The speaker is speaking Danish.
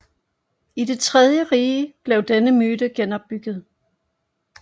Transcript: I Det tredje Rige blev denne myte genopbygget